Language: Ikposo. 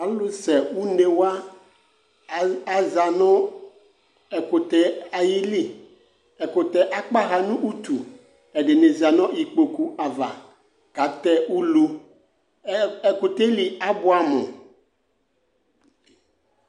Alʋsɛune wa aza nʋ ɛkʋtɛ yɛ ayili Ɛkʋtɛ yɛ akpaɣa nʋ utu Ɛdɩnɩ za nʋ ikpoku ava katɛ ulu Ɛ ɛkʋtɛ yɛ li abʋɛamʋ